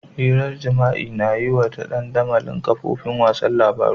Hiran jima'i na yuwa ta dandamalin kafofin wasan labaru.